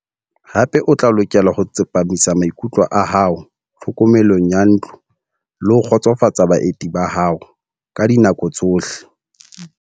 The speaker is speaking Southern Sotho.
Hape o tla lokela ho tsepamisa maikutlo a hao tlhokomelong ya ntlo le ho kgotsofatsa baeti ba hao ka dinako tsohle.